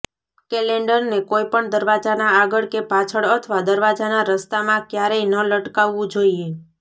કેલેંડરને કોઈપણ દરવાજાના આગળ કે પાછળ અથવા દરવાજાના રસ્તામાં ક્યારેય ન લટકાવુ જોઈએ